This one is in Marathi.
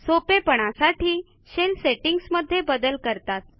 सोपेपणासाठी Shellसेटींगमध्ये बदल करतात